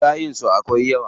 Shayin su akwai yawa?